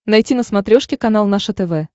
найти на смотрешке канал наше тв